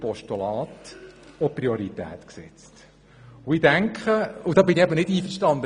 Deshalb bin ich mit vielen der bisherigen Voten nicht einverstanden.